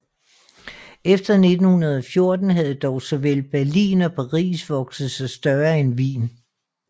Efter 1914 havde dog såvel Berlin og Paris vokset sig større end Wien